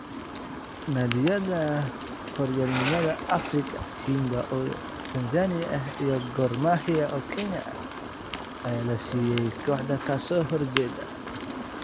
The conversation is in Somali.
Naadiyada horyaalnimada Afrika: Simba oo Tanzania ah iyo Gor Mahia oo Kenya ah ayaa la siiyay koox ka soo horjeeda